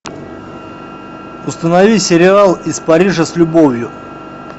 установи сериал из парижа с любовью